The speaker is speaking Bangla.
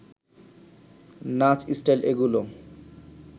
নাচ, স্টাইল এগুলো